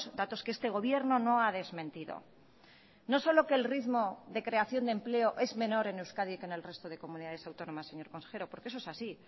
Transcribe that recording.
datos que este gobierno no ha desmentido no solo que el ritmo de creación de empleo es menor en euskadi que en el resto de comunidades autónomas señor consejero porque eso es así